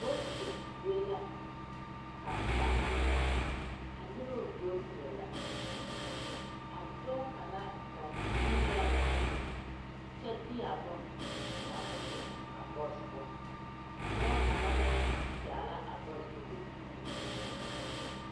Voti zie la ka ba are a noba Votiri la a dɔɔ kaŋa gaa te dii la o nubiri kyɛ de a bone gaa ka o te eŋ boosi poɔ a dɔɔ kaŋ meŋ gaa la a boosi poɔ ko o te dii o nubiri.